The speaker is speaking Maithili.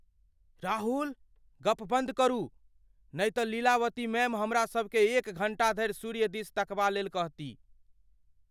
राहुल! गप बन्द करू, नहि तऽ लीलावती मैम हमरा सभकेँ एक घण्टा धरि सूर्य दिस तकबा लेल कहती।